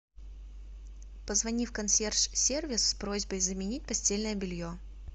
позвони в консьерж сервис с просьбой заменить постельное белье